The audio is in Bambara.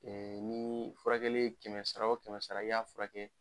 nii furakɛli ye kɛmɛ sara o kɛmɛ sara i y'a furakɛ